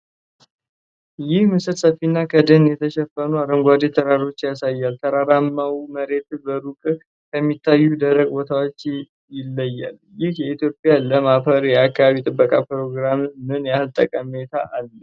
ይህ ምስል ሰፊና ከደን የተሸፈኑ አረንጓዴ ተራሮች ያሳያል። ተራራማው መሬት በሩቅ ከሚታዩት ደረቅ ቦታዎች ይለያል። ይህ የኢትዮጵያ ለም አፈር የአካባቢ ጥበቃ ፕሮግራሞች ምን ያህል ጠቀሜታ አለው?